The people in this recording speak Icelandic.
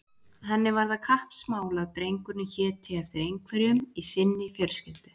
Henni var það kappsmál að drengurinn héti eftir einhverjum í sinni fjölskyldu.